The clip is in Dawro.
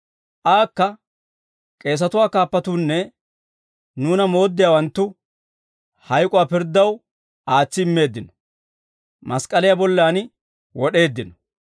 Aakka k'eesatuwaa kaappatuunne nuuna mooddiyaawanttu hayk'uwaa pirddaw aatsi immeeddino; mask'k'aliyaa bollan wod'eeddino.